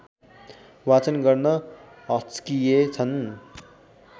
वाचन गर्न हच्किएछन्